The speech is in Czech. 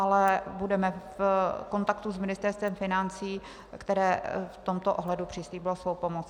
Ale budeme v kontaktu s Ministerstvem financí, které v tomto ohledu přislíbilo svou pomoc.